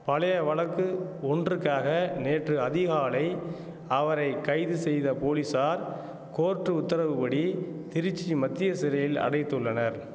பழைய வழக்கு ஒன்றுக்காக நேற்று அதிகாலை அவரை கைது செய்த போலீசார் கோர்ட் உத்தரவு படி திருச்சி மத்திய சிறையில் அடைத்துள்ளனர்